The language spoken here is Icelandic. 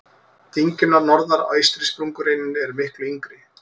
Dyngjurnar norðar á eystri sprungureininni eru miklu yngri.